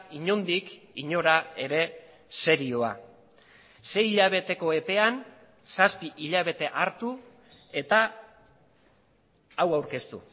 inondik inora ere serioa sei hilabeteko epean zazpi hilabete hartu eta hau aurkeztu